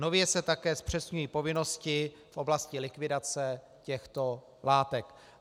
Nově se také zpřesňují povinnosti v oblasti likvidace těchto látek.